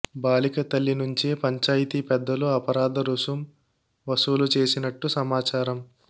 బాలిక తల్లి నుంచే పంచాయితీ పెద్దలు అపరాధ రుసుం వసూలు చేసినట్టు సమాచారం